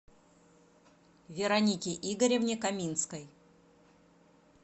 веронике игоревне каминской